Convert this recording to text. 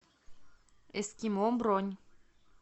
эскимо бронь